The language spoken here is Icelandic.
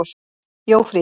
Jófríður